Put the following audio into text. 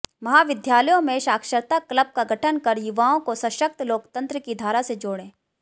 महाविद्यालयों में साक्षरता क्लब का गठन कर युवाओं को सशक्त लोकतंत्र की धारा से जोड़ें